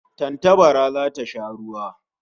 Tantabara zata sha ruwa